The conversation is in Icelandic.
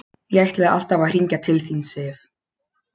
Ég ætlaði alltaf að hringja til þín, Sif.